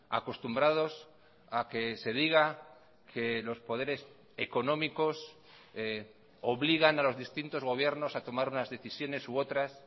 acostumbrados a que se diga que los poderes económicos obligan a los distintos gobiernos a tomar unas decisiones u otras